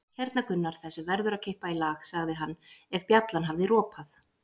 Hérna Gunnar, þessu verður að kippa í lag, sagði hann ef bjallan hafði ropað.